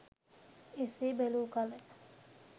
එසේ බැලූ කල